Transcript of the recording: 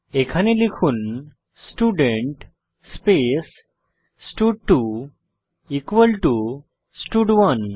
এখানে লিখুন স্টুডেন্ট স্টাড2 ইকুয়াল টু স্টাড1